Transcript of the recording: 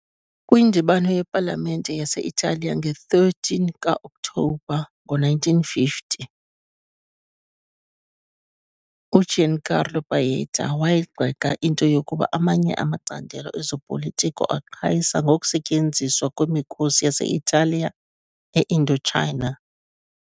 Kwindibano yepalamente yase-Italiya nge-13 ka-Okthobha ngo-1950, uGiancarlo Pajetta wayigxeka into yokuba amanye amacandelo ezopolitiko aqhayisa ngokusetyenziswa kwemikhosi yase-Italiya e-Indochina.